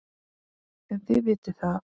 En þið vitið það.